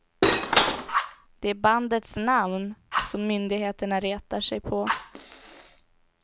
Det är bandets namn som myndigheterna retar sig på.